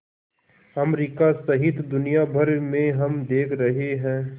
America सहित दुनिया भर में हम देख रहे हैं